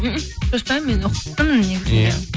шашпаймын мен ұқыптымын негізі